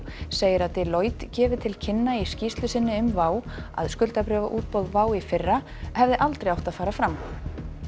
segir að Deloitte gefi til kynna í skýrslu sinni um WOW að skuldabréfaútboð WOW í fyrra hefði aldrei átt að fara fram